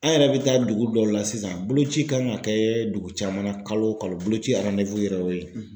An yɛrɛ bɛ taa dugu dɔw la sisan boloci kan ka kɛ dugu caman na kalo kalo boloci yɛrɛ ye o ye.